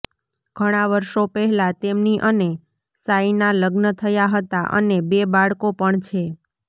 ઘણાં વર્ષો પહેલા તેમની અને શાયના લગ્ન થયા હતા અને બે બાળકો પણ છે